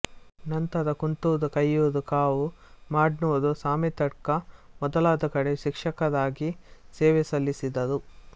ನಂತರ ಕುಂತೂರು ಕೆಯ್ಯೂರು ಕಾವು ಮಾಡ್ನೂರು ಸಾಮೆತ್ತಡ್ಕ ಮೊದಲಾದ ಕಡೆ ಶಿಕ್ಷಕರಾಗಿ ಸೇವೆ ಸಲ್ಲಿಸಿದರು